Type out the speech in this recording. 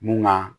Mun ka